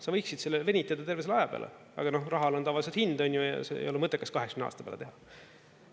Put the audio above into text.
Sa võiksid selle venitada terve selle aja peale, aga rahal on tavaliselt hind ja ei ole mõttekas 80 aasta peale teha.